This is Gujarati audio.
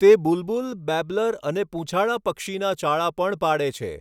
તે બુલબુલ બેબ્લર અને પૂંછાળા પક્ષીના ચાળા પણ પાડે છે.